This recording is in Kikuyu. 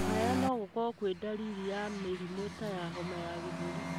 Kũhaya nogũkorwo kwĩ ndariri ya mĩrimũ ta homa ya gĩthũri.